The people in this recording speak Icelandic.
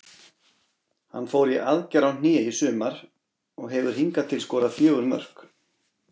Hann fór í aðgerð á hné í sumar og hefur hingað til skorað fjögur mörk.